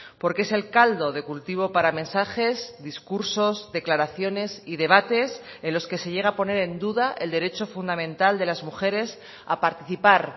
porque es el caldo de cultivo para mensajes discursos declaraciones y debates en los que se llega a poner en duda el derecho fundamental de las mujeres a participar